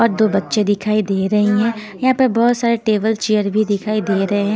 और दो बच्चे दिखाई दे रही हैं यहाँ पर बहुत सारे टेबल चेयर भी दिखाई दे रहे हैं।